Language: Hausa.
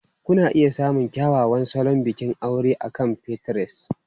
Kuna iya samun kyakkyawan salon bikin aure akan Pinterest.